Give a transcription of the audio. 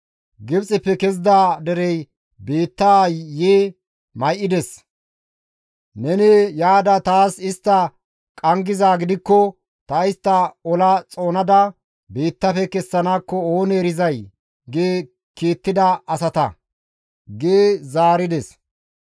‹Gibxeppe kezida derey biittaa yi may7ides; neni yaada taas istta qanggizaa gidikko ta istta ola xoonada biittafe kessanakko oonee erizay!› gi kiittida asata» gi zaarides.